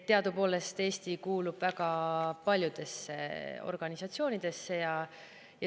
Teadupoolest kuulub Eesti väga paljudesse organisatsioonidesse.